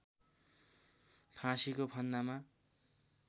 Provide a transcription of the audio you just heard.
फाँसीको फन्दामा